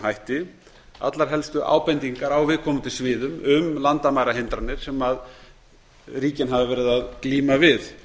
hætti allar helstu ábendingar á viðkomandi sviðum um landamærahindranir sem ríkin hafa verið að glíma við